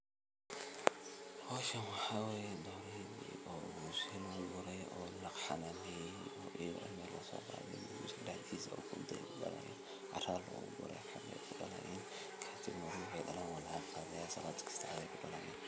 Hoshan waxaa waye dorey oo biya lagu sini hayo oo la xananeynayo ee melahas guriga daxdisa cara lagu guraya halkas ayey kudalayan kadib waxee dalan waa laga guraya markasta wey kudalayan.